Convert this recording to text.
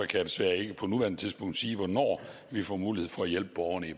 desværre ikke på nuværende tidspunkt sige hvornår vi får mulighed for at hjælpe borgerne i